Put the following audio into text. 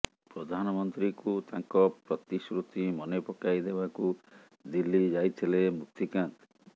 ପ୍ରଧାନମନ୍ତ୍ରୀଙ୍କୁ ତାଙ୍କ ପ୍ରତିଶୃତି ମନେପକାଇ ଦେବାକୁ ଦିଲ୍ଲୀ ଯାଇଥିଲେ ମୁକ୍ତିକାନ୍ତ